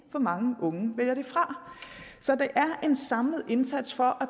for mange unge vælger det fra så det er en samlet indsats for